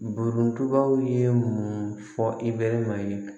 Borontubaw ye mun fɔ i bɛ maɲan ye